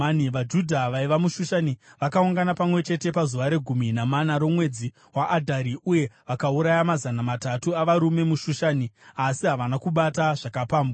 VaJudha vaiva muShushani vakaungana pamwe chete pazuva regumi namana romwedzi waAdhari, uye vakauraya mazana matatu avarume muShushani, asi havana kubata zvakapambwa.